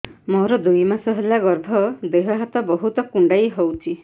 ମୋର ଦୁଇ ମାସ ହେଲା ଗର୍ଭ ଦେହ ହାତ ବହୁତ କୁଣ୍ଡାଇ ହଉଚି